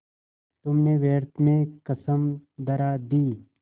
तुमने व्यर्थ में कसम धरा दी